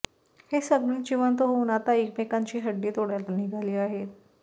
हे सगळे जिवंत होऊन आता एकमेकांची हड्डी तोडायला निघाली आहेत